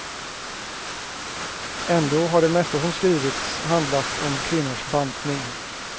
Ändå har det mesta som skrivits handlat om kvinnors bantning.